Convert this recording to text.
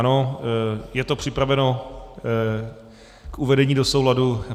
Ano, je to připraveno k uvedení do souladu.